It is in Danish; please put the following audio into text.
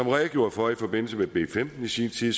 redegjorde for i forbindelse med b femten i sin tid